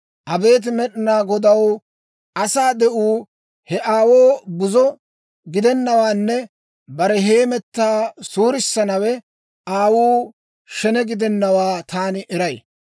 Abeet Med'inaa Godaw, asaa de'uu he aawoo buzo gidennawaanne bare hemetaa suurissanawe aawuu shene gidennawaa taani eray.